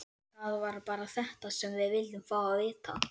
Það var bara þetta sem við vildum fá að vita.